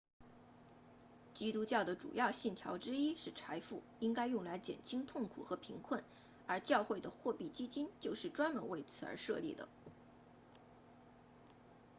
基督教的主要信条之一是财富应该用来减轻痛苦和贫困而教会的货币基金就是专门为此而设立的